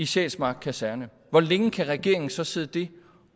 sjælsmark kaserne hvor længe kan regeringen så sidde det